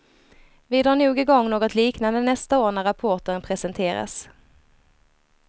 Vi drar nog igång något liknande nästa år när rapporten presenteras.